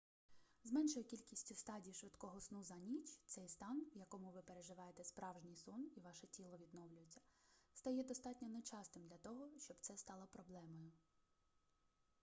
з меншою кількістю стадій швидкого сну за ніч цей стан в якому ви переживаєте справжній сон і ваше тіло відновлюється стає достатньо нечастим для того щоб це стало проблемою